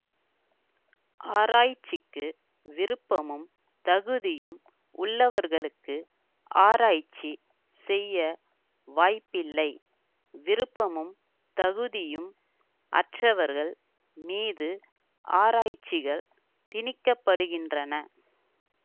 ஆராய்ச்சிக்கு விருப்பமும் தகுதியும் உள்ளவர்களுக்கு ஆராய்ச்சி செய்ய வாய்ப்பில்லை விருப்பமும் தகுதியும் அற்றவர்கள் மீது ஆராய்ச்சிகள் திணிக்கப்படுகின்றன